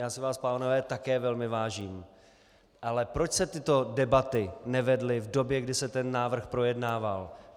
Já si vás, pánové, také velmi vážím, ale proč se tyto debaty nevedly v době, kdy se ten návrh projednával?